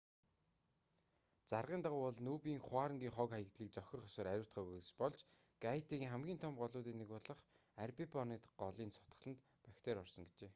заргын дагуу бол нүб-ын хуарангийн хог хаягдлыг зохих ёсоор ариутгаагүйгээс болж гайтигийн хамгийн том голуудын нэг болох арбибонит голын цутгаланд бактери орсон гэжээ